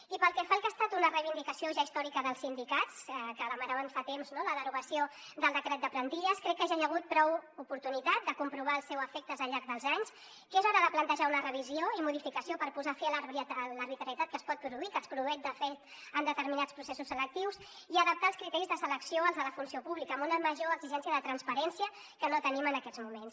i pel que fa al que ha estat una reivindicació ja històrica dels sindicats que demanaven fa temps no la derogació del decret de plantilles crec que ja hi ha hagut prou oportunitat de comprovar el seu efecte al llarg dels anys que és hora de plantejar una revisió i modificació per posar fi a l’arbitrarietat que es pot produir que es produeix de fet en determinats processos selectius i adaptar els criteris de selecció als de la funció pública amb una major exigència de transparència que no tenim en aquests moments